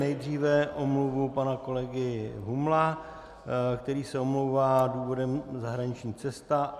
Nejdříve omluvu pana kolegy Humla, který se omlouvá - důvodem zahraniční cesta.